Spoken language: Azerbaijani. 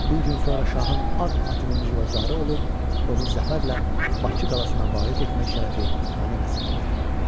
Bir gün sonra şahın ağ atının cılovdarı olub, onu zəfərlə Bakı qalasına varid etmək şərəfi mənə nəsib olar.